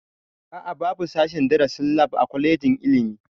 A'a babu sashen darasin lab a kwalejin ilimi